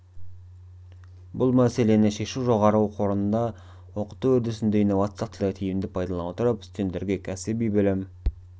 бұл мәселені шешу жоғары оқу орнында оқыту үрдісінде инновациялық технологияларды тиімді пайдалана отырып студенттерге кәсіби білім